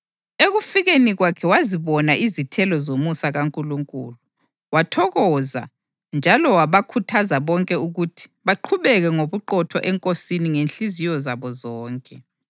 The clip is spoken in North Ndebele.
Ekufikeni kwakhe wazibona izithelo zomusa kaNkulunkulu, wathokoza njalo wabakhuthaza bonke ukuthi baqhubeke ngobuqotho eNkosini ngezinhliziyo zabo zonke.